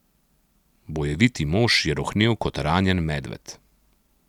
Bojeviti mož je rohnel kot ranjen medved.